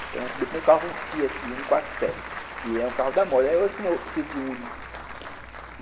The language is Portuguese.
Então, o meu primeiro carro foi um Fiat um quatro sete, que era um carro da moda, hoje como é o Fiat Uno.